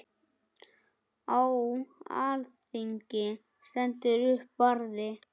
Á alþingi stendur upp Barði